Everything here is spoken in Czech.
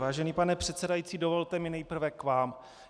Vážený pane předsedající, dovolte mi nejprve k vám.